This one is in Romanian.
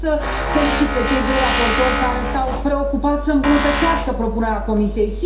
Vreau să felicit pe cei doi raportori care s au preocupat să îmbunătățească propunerea Comisiei.